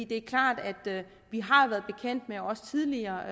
det er klart at vi også tidligere